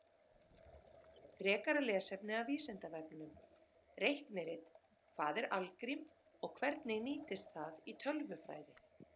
Frekara lesefni af Vísindavefnum: Reiknirit Hvað er algrím og hvernig nýtist það í tölvufræði?